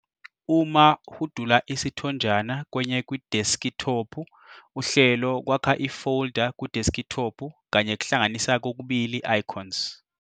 Uma hudula isithonjana kwenye kwideskithophu, uhlelo kwakha ifolda kwideskithophu kanye kuhlanganisa kokubili icons.